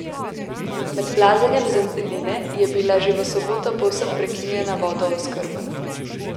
Med plazenjem zemljine je bila že v soboto povsem prekinjena vodooskrba.